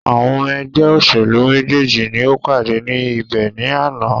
Àwọn ọmọ ẹgbẹ́ òṣèlú méjèèjì ni o pàdé ní ibẹ̀ ní àná.